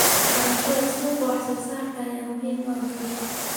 Barashada suuqa wax soo saarka ayaa muhiim u ah guusha.